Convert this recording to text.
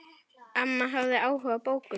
Amma hafði áhuga á bókum.